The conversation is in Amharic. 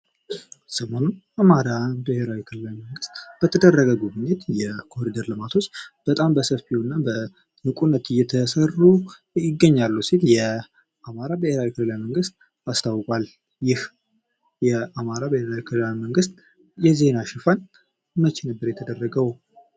ሰሞኑን በአማራ ብሔራዊ ክልላዊ መንግሥት በተደረገ ጉብኝት የኮሊደር ልማቶች በጣም በሰፊው እና በንቁነት እየተሰነዘሩ ይገኛሉ ሲል የ አማራ ብሄራዊ ክልላዊ መንግሥት አስታውቋል። ይህ የአማራ ብሔራዊ ክልላዊ መንግሥት የዜና ሽፋን መቼ ነበር የተደረገው?